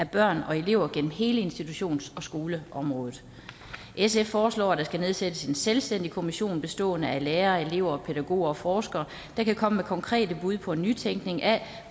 børn og elever gennem hele institutions og skoleområdet sf foreslår at der skal nedsættes en selvstændig kommission bestående af lærere elever pædagoger og forskere der kan komme med konkrete bud på en nytænkning af